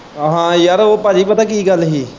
ਹਾਂ ਯਾਰ ਉਹ ਭਾਜੀ ਪਤਾ ਕੀ ਗੱਲ ਸੀ।